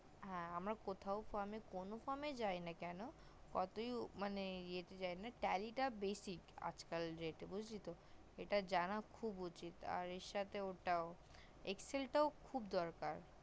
হ্যা আমরা কোথাও কোনো কারণে যাই না কেন কতই মানে যাই না কেন টা tally টা basic আজকাল বুজলি তো এটা জানা খুব উঠিত আর এর সাথে ওটাও excel খুব দরকার